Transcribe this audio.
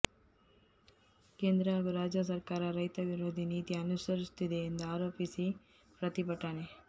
ಕೇಂದ್ರ ಹಾಗೂ ರಾಜ್ಯ ಸರ್ಕಾರ ರೈತ ವಿರೋಧಿ ನೀತಿ ಅನುಸರಿಸುತ್ತಿದೆ ಎಂದು ಆರೋಪಿಸಿ ಪ್ರತಿಭಟನೆ